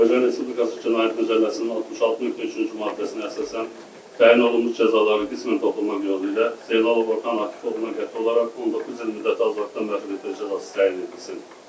Azərbaycan Respublikası Cinayət Məcəlləsinin 66.3-cü maddəsinə əsasən təyin olunmuş cəzaları qismən toplanmaq yolu ilə Zeynalov Orxan Akif oğluna qəti olaraq 19 il müddətinə azadlıqdan məhrum etmə cəzası təyin edilsin.